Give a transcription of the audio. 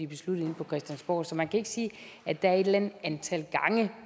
besluttet inde på christiansborg så man kan ikke sige at der er et eller andet antal gange